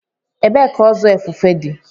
Ebee ka ozu efefe dị?